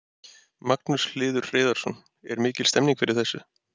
Magnús Hlynur Hreiðarsson: Er mikil stemning fyrir þessu?